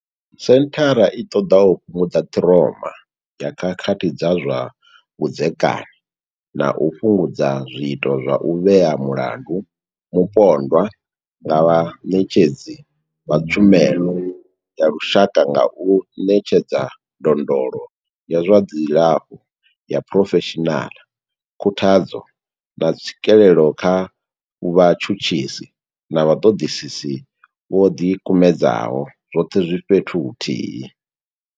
Senthara i ṱoḓa u fhungudza ṱhiroma ya khakhathi dza zwa vhudzekani na u fhungudza zwiito zwa u vhea mulandu mupondwa nga vhaṋetshedzi vha tshumelo ya lushaka nga u ṋetshedza ndondolo ya zwa dzilafho ya phurofeshinala, khuthadzo, na tswikelo kha vhatshutshisi na vhaṱoḓisi vho ḓi kumedzaho, zwoṱhe zwi fhethu huthihi.